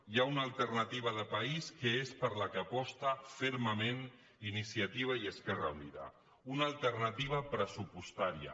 hi ha una alternativa de país que és per la qual aposta fermament iniciativa i esquerra unida una alternativa pressupostària